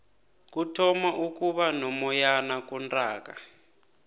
kuthoma ukuba nomoyana kuntaaka